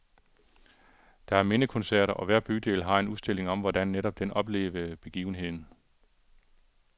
Der er mindekoncerter, og hver bydel har en udstilling om, hvordan netop den oplevede begivenheden.